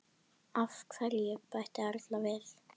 Af hverju? bætti Elvar við.